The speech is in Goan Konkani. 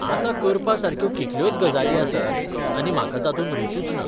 आतां करपासारक्यो कितल्योच गजाली आसात आनी म्हाका तातूंत रूचूच ना.